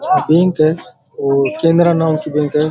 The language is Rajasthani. आ बैंक है और केनरा नाम की बैंक है।